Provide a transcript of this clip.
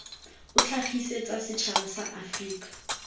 o tlhagisetsa setšhaba sa aforika